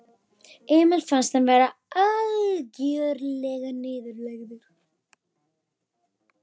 Emil fannst hann vera algjörlega niðurlægður.